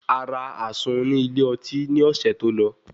Ará àsun ní ilé oti ní ọ̀sẹ̀ tó lọ